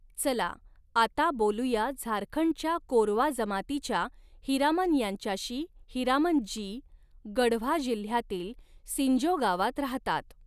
चला, आता बोलूया झारखंडच्या कोरवा जमातीच्या हीरामन यांच्याशी हीरामन जी, गढ़वा जिल्ह्यातील सिंजो गावात राहतात.